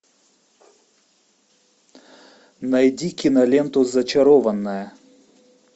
найди киноленту зачарованная